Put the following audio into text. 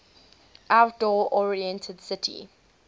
outdoor oriented city